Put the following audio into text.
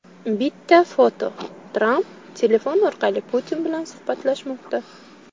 Bitta foto: Tramp telefon orqali Putin bilan suhbatlashmoqda.